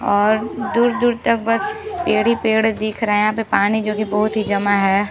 और दूर-दूर तक बस पेड़ ही पेड़ दीख रहें हैं यहाँ पे पानी जो की बहुत ही जमा है।